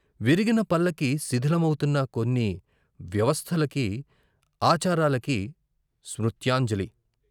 విరిగిన పల్లకీ శిథిలమవుతున్న కొన్ని వ్యవస్థలకి, ఆచారాలకి స్మృత్యాంజలి.